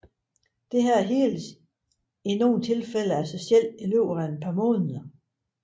Dette heles i nogle tilfælde af sig selv i løbet af nogle måneder